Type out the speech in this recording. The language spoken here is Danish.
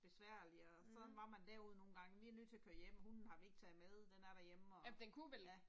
Besværligt og sådan var man derude nogle gange vi nødt til at køre hjem hunden har vi ikke taget med den er derhjemme og, ja